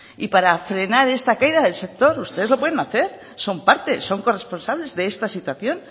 y para frenar esta caída del sector ustedes lo pueden hacer son parte son corresponsables de esta situación